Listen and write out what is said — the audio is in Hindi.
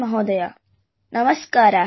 महोदय नमस्कारः